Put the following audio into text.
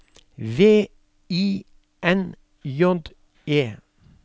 V I N J E